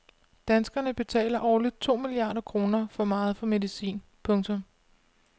Danskerne betaler årligt to milliarder kroner for meget for medicin. punktum